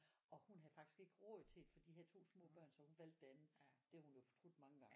Og hun havde faktisk ikke råd til det for de havde to små børn så hun valgte det andet. Det har hun jo fortudt mange gange